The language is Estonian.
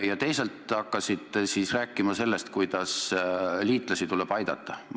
Ja teisalt hakkasite rääkima sellest, kuidas liitlasi tuleb aidata.